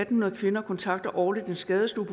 hundrede kvinder kontakter årligt en skadestue